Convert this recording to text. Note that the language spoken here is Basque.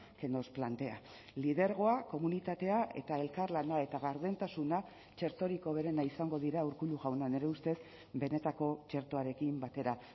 que nos plantea lidergoa komunitatea eta elkarlana eta gardentasuna txertorik hoberena izango dira urkullu jauna nire ustez benetako txertoarekin batera